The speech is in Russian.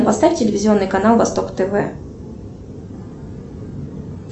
поставь телевизионный канал восток тв